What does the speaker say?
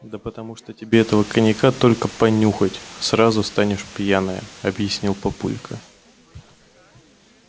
да потому что тебе этого коньяка только понюхать сразу станешь пьяная объяснил папулька